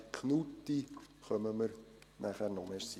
Knutti kommen wir nachher noch.